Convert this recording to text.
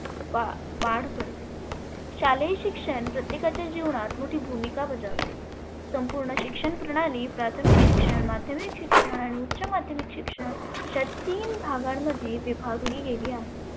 वा अं वाढ करते. शालेय शिक्षण प्रत्येकाच्या जिवनात मोठी भुमीका बजावते. संपुर्ण शिक्षण प्रणाली प्राथमीक शिक्षण, माध्यमिक शिक्षण आणि उच्च माध्यमीक शिक्षण अशा तीन भागांमध्ये विभागली गेली आहे.